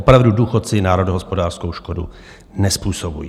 Opravdu, důchodci národohospodářskou škodu nezpůsobují.